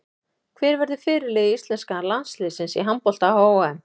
Hver verður fyrirliði íslenska landsliðsins í handbolta á HM?